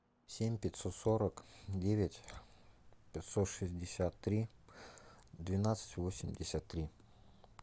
семь пятьсот сорок девять пятьсот шестьдесят три двенадцать восемьдесят три